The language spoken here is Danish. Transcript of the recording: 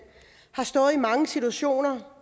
har stået i mange situationer